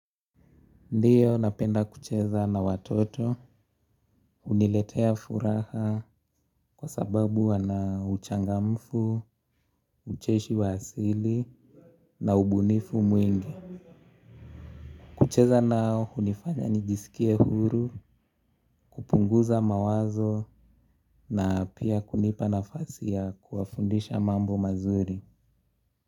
Ndiyo napenda kucheza na watoto uniletea furaha kwa sababu wana uchangamfu, ucheshi wa asili na ubunifu mwingi. Kucheza nao unifanya nijisikie huru kupunguza mawazo na pia kunipa nafasi ya kuwafundisha mambo mazuri.